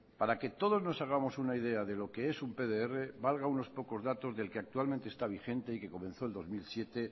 para que todos nos hagamos una idea de lo que es un pdr valga unos pocos datos del que actualmente esta vigente y que comenzó el dos mil siete